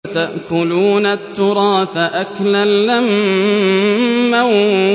وَتَأْكُلُونَ التُّرَاثَ أَكْلًا لَّمًّا